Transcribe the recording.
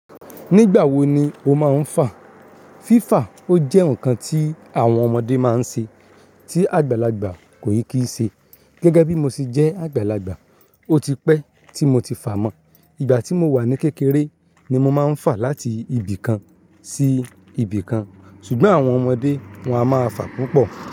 Nígbà wo ni o máa ń fà? Fífà o jẹ́ ǹkan tí àwọn ọmọdé máa ń ṣe, tí àgbàlagbà kò kì í ṣe. Gẹ́gẹ́ bí mo ṣe jẹ́ àgbàlagbà, ó ti pẹ́ tí mo ti fà mọ́. Ìgbà tí mo wà ní kékeré ni mo máa ń fà láti ibì kan sí ibì kan. Ṣùgbọ́n àwọn ọmọdé wọ́n a máa fà púpọ̀